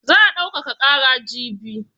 Za a daukaka ƙara jibi.